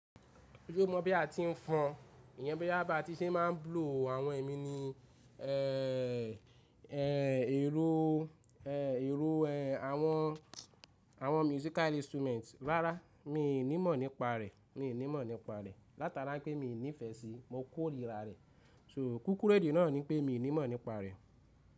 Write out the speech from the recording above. Ó mọ̀ bí a ti ń fọn, ìyẹn bóya bá ti ṣe máa ń blow àwọn ẹ̀mí ní, eeh eeh èrò eeh èrò ẹh àwọn àwọn musical instruments. Rárá, mi nímọ̀ nípa rẹ̀. Mi ò ní mọ̀ nípa rẹ̀. Látara pé mi ò nífẹ̀ẹ́ síi, mo kórìíra rẹ̀. So kúkúrẹ́dì náà ní pé mi ò ní mọ̀ nípa rẹ̀